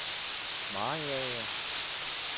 Mariager